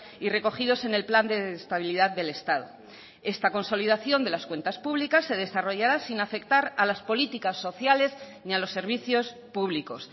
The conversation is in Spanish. y recogidos en el plan de estabilidad del estado esta consolidación de las cuentas públicas se desarrollará sin afectar a las políticas sociales ni a los servicios públicos